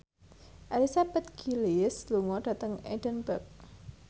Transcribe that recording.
Elizabeth Gillies lunga dhateng Edinburgh